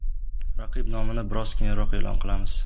Raqib nomini biroz keyinroq e’lon qilamiz.